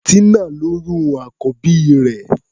Tínà lóyún àkọ́bí rẹ̀.